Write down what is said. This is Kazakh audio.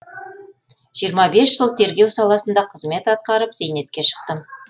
жиырма бес жыл тергеу саласында қызмет атқарып зейнетке шықтым